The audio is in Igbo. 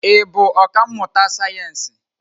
Ị bụ ọkà mmụta sayensị?